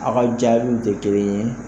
A ka jaabiw te kelen ye